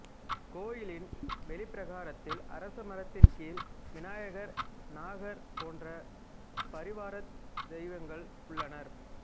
கோயிலின் வெளிப்பிரகாரத்தில் அரச மரத்தின் கீழ் விநாயகர் நாகர் போன்ற பரிவாரத் தெய்வங்கள் உள்ளனர்